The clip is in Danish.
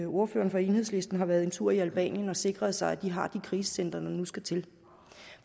ordføreren for enhedslisten har været en tur i albanien og sikret sig at de har de krisecentre der nu skal til